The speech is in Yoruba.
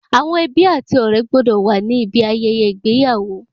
Àwọn ẹbí ati ọ̀rẹ́ gbọ́dọ̀ wa níbi ayẹyẹ ìgbéyàwó